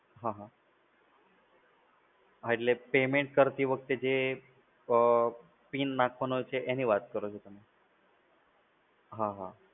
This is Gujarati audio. હા હા. હા એટલે payment કરતી વખતે જે અ પિન નાખવાનો છે એની વાત કરો છો તમે? હા હા.